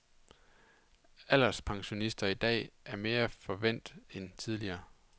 Alderspensionister i dag er mere forvænt end tidligere.